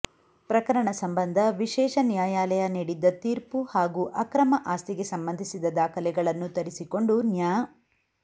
ಪ್ರಕರಣ ಸಂಬಂಧ ವಿಶೇಷ ನ್ಯಾಯಾಲಯ ನೀಡಿದ್ದ ತೀರ್ಪು ಹಾಗೂ ಅಕ್ರಮ ಆಸ್ತಿಗೆ ಸಂಬಂಧಿಸಿದ ದಾಖಲೆಗಳನ್ನು ತರಿಸಿಕೊಂಡು ನ್ಯಾ